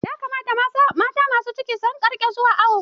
Ya kamata mata masu ciki su rinƙa zuwa awo.